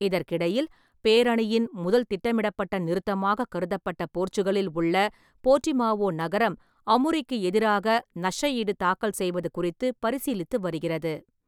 இதற்கிடையில், பேரணியின் முதல் திட்டமிடப்பட்ட நிறுத்தமாக கருதப்பட்ட போர்ச்சுகலில் உள்ள போர்டிமாவோ நகரம், அமுரிக்கு எதிராக நஷ்டஈடு தாக்கல் செய்வது குறித்து பரிசீலித்து வருகிறது.